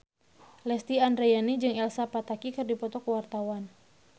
Lesti Andryani jeung Elsa Pataky keur dipoto ku wartawan